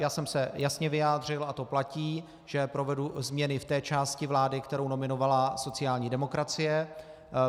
Já jsem se jasně vyjádřil, a to platí, že provedu změny v té části vlády, kterou nominovala sociální demokracie.